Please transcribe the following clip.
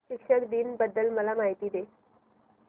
शिक्षक दिन बद्दल मला माहिती दे